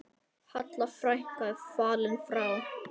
Halla frænka er fallin frá.